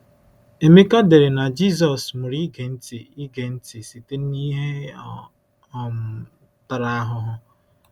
Emeka dere na Jisọs “mụrụ ịge nti ịge nti site n’ihe ọ um tara ahụhụ.”